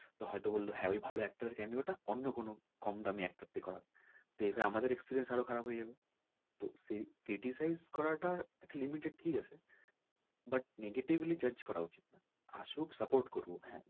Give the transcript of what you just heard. তো হয় তো বলল হ্যাঁ ওই ভালো actor কে আমি ওটা অন্য কোনো কম দামি actor কে দিয়ে করাবে তো এতে কিন্তু আমাদের experience কিন্তু খারাপ হয়ে যাবে তো সেই criticize করা টা একটা limit এ ঠিক আছে but negatively judge করা উচিৎ না।